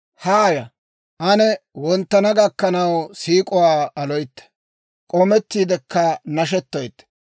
Haaya; ane wonttana gakkanaw siik'uwaa aloytte; k'oomettiidekka nashettoytte;